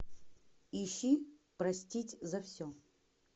ищи простить за все